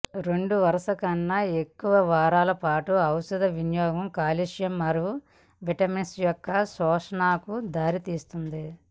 రెండు వరుస కన్నా ఎక్కువ వారాలపాటు ఔషధ వినియోగం కాల్షియం మరియు విటమిన్స్ యొక్క శోషణకు దారితీస్తుంది